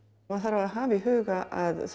maður þarf að hafa í huga að þó